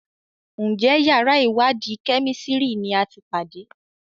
Njé yàrá iwadi Kẹ́mísìrì ní àti pàdé?